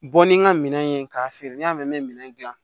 Bɔ ni n ka minɛn ye k'a feere n y'a mɛn n bɛ minɛn dilan